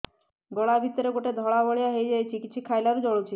ଗଳା ଭିତରେ ଗୋଟେ ଧଳା ଭଳିଆ ହେଇ ଯାଇଛି କିଛି ଖାଇଲାରୁ ଜଳୁଛି